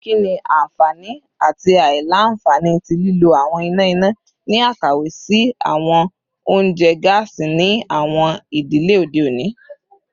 Kini awọn anfani ati aila-nfani ti lilo awọn ina ina ni akawe si awọn ounjẹ gaasi ni awọn idile ode oni?